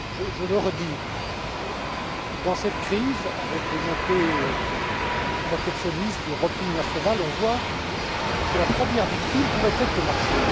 Je le redis dans cette crise avec la montée du protectionnisme, du repli national on voit que la première victime pourrait être le marché.